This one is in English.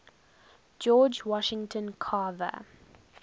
george washington carver